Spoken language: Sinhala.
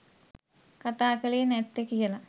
කතා කළේ නැත්තෙ කියල